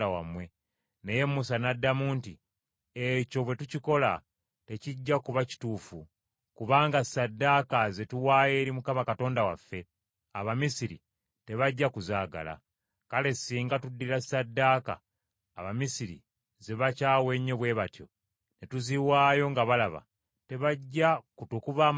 Naye Musa n’addamu nti, “Ekyo bwe tukikola, tekijja kuba kituufu. Kubanga ssaddaaka ze tuwaayo eri Mukama Katonda waffe, Abamisiri tebajja kuzaagala. Kale singa tuddira ssaddaaka Abamisiri ze bakyawa ennyo bwe batyo, ne tuziwaayo nga balaba, tebajja kutukuba amayinja?